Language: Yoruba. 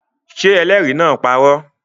Ṣé ẹlẹ́rìí náà parọ́?